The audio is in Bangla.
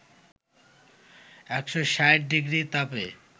১৬০ ডিগ্রি তাপে